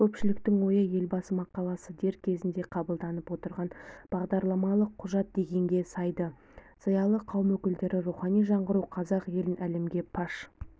көпшіліктің ойы елбасы мақаласы дер кезінде қабылданып отырған бағдарламалық құжат дегенге саяды зиялы қауым өкілдері рухани жаңғыру қазақ елін әлемге паш